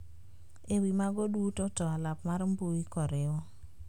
E wi mago duto to alap mar mbui koriw